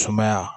Sumaya